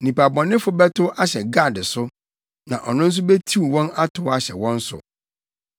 “Nnipa bɔnefo bɛtow ahyɛ Gad so, na ɔno nso betiw wɔn atow ahyɛ wɔn so.